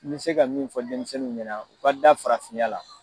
N bɛ se ka min fɔ denmisɛnninw ɲɛna u ka da farafinya la.